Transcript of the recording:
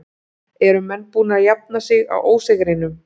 Eru menn búnir að jafna sig á ósigrinum?